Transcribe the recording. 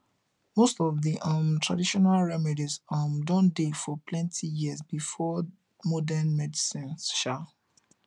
most of the um traditional remedies um don dey for plenty years before modern medicine um